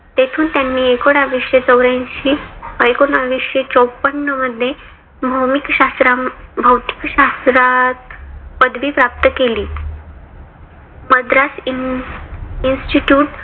तेथून त्यांनी एकोनाविशे चौर्या ऐंशी व एकोनाविशे चौपन्न मध्ये भोमिक शास्त्रात भौतिक शास्त्रात पदवी प्राप्त केली. मद्रास institute